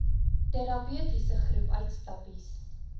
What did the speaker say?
terapeutiese groep uitstappies